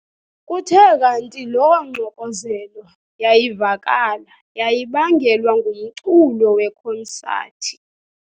Kuthe kanti loo ngxokozelo yayivakala yayibangelwa ngumculo wekonsathi.